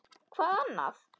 Hvað annað?